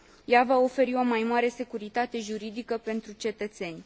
Ea va oferi o mai mare securitate juridică pentru cetățeni.